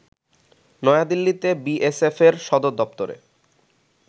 নয়া দিল্লিতে বিএসএফ এর সদরদপ্তরে